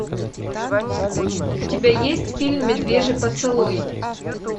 у тебя есть фильм медвежий поцелуй